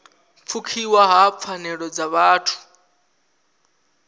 pfukiwa ha pfanelo dza vhuthu